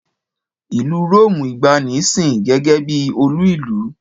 Ìlú Róòmù ìgbàanì sìn gẹ́gẹ́ bí olú ìlú.